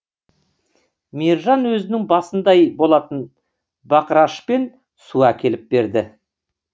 мержан өзінің басындай болатын бақырашпен су әкеліп берді